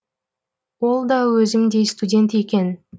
ол да өзімдей студент екен